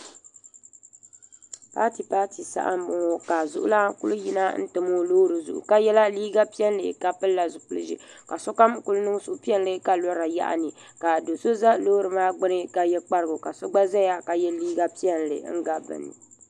Paati paati saha m boŋɔ ka xuɣulana kuli yina n tam o loori zuɣu ka yela liiga piɛlli ka pilila zipil'ʒee ka sokam kuli niŋ suhupiɛlli ka lora yaɣini ka do'so za loori maa gbini ka ye kparigu ka so gba zaya ka ye liiga piɛlli m gabi bɛni.